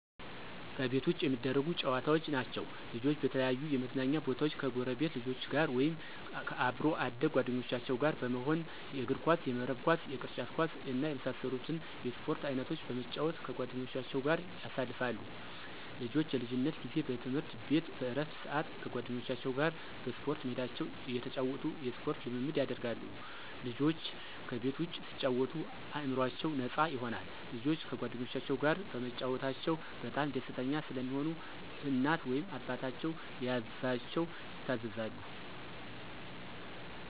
ከቤት ውጭ የሚደረጉ ጨዋታዎች ናቸዉ። ልጆች በተለያዩ የመዝናኛ ቦታወች ከጎረቤት ልጆች ጋር ወይም ከአብሮ አደግ ጓደኞቻቸው ጋር በመሆን የእግርኳስ፣ የመረብ ኳስ፣ የቅርጫት ኳስ እና የመሳሰሉትን የስፖርት አይነቶች በመጫወት ከጓደኞቻቸው ጋር ያሳልፋሉ። ልጆች የልጅነት ጊዜ በትምህርት ቤት በእረፍት ስአት ከጓደኞቻቸው ጋር በስፖርት ሜዳቸው እየተጫወቱ የስፖርት ልምምድ ያደርጋሉ። ልጆች ከቤት ውጭ ሲጫወቱ አእምሮአቸው ነፃ ይሆናል። ልጆች ከጓደኞቻቸው ጋር በመጫወታቸው በጣም ደስተኛ ስለሚሆኑ እናት ወይም አባታቸው ሲያዛቸው ይታዘዛሉ።